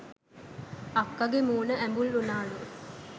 අක්කගෙ මූණ ඇඹුල් උනාලු